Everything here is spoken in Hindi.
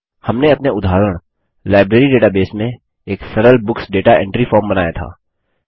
हमने अपने उदाहरण लाइब्रेरी डेटाबेस में एक सरल बुक्स दाता एंट्री फॉर्म बनाया था